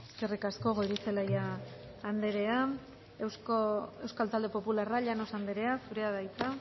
eskerrik asko goirizelaia andrea euskal talde popularra llanos andrea zurea da hitza